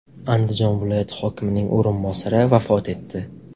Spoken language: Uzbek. Andijon viloyati hokimining o‘rinbosari vafot etdi.